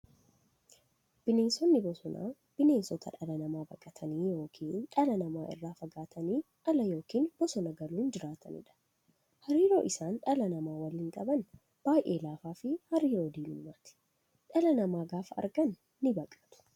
Bineensonni bosonaa bineensota dhala namaa baqatanii yookiin dhala namaa irraa fagaatanii ala yookiin bosona galuun jiraataniidha. Hariiroon isaan dhala namaa waliin qaban baay'ee laafaafi hariiroo diinummaati. Dhala namaa gaafa argan nibaqatu.